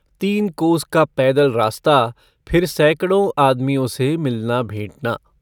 तीन कोस का पैदल रास्ता फिर सैकड़ों आदमियों से मिलना भेंटना।